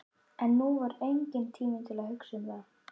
En nú var enginn tími til að hugsa um það.